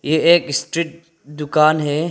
ये एक स्ट्रीट दुकान है।